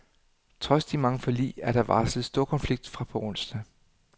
Trods de mange forlig er der varslet storkonflikt fra på onsdag.